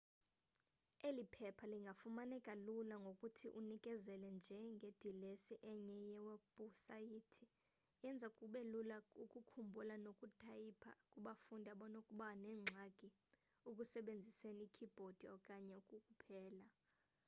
eli phepha lingafumaneka lula ngokuthi unikezele nje ngedilesi enye yewebhusaythi eyenza kubelula ukukhumbula nokutayipha kubafundi abanokuba nengxaki ukusebenziseni ikeybhodi okanye ukupela